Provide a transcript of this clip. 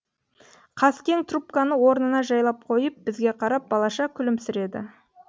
қаскең трубканы орнына жайлап қойып бізге қарап балаша күлімсіреді